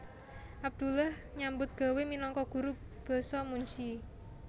Abdullah nyambut gawé minangka guru basa munsyi